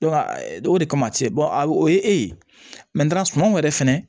o de kama tiɲɛ a o ye e ye sunɔgɔ yɛrɛ fɛnɛ